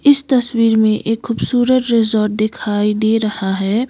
इस तस्वीर में एक खूबसूरत रिजॉर्ट दिखाई दे रहा है।